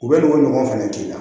U bɛ n'u ka ɲɔgɔn fɛnɛ k'i la